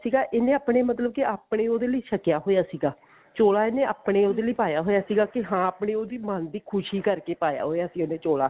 ਸੀਗਾ ਇਹਨੇ ਆਪਣੇ ਮਤਲਬ ਕਿ ਆਪਣੇ ਉਹਦੇ ਲਈ ਛਕਿਆ ਹੋਇਆ ਸੀਗਾ ਚੋਲਾ ਇਹਨੇ ਆਪਣੇ ਉਹਦੇ ਲਈ ਪਾਇਆ ਹੋਇਆ ਸੀਗਾ ਕਿ ਹਾਂ ਆਪਣੀ ਉਹਦੀ ਮਨ ਦੀ ਖੁਸ਼ੀ ਕਰਕੇ ਪਾਇਆ ਹੋਇਆ ਸੀ ਉਹਨੇ ਚੋਲਾ